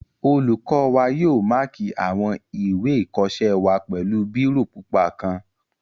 Olùkọ́ wa yóò máàkì àwọn ìwé ìkọsẹ́ wa pẹ̀lú bírò pupa kan